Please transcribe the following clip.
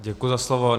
Děkuji za slovo.